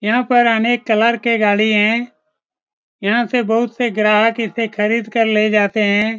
यहाँ पे अनेक कलर के गाड़ी है यहाँ से बहुत से ग्राहक इसे खरीद कर ले जाते है।